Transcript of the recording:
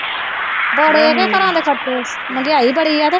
ਬੜੇ ਘਰਾ ਦੇ ਖਰਚੇ ਮਹਿੰਗਾਈ ਬੜੀ ਆ ਕੇ